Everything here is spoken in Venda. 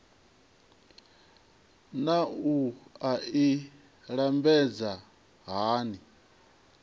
naa wua i lambedzwa hani